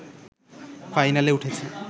ফাইনালে উঠেছে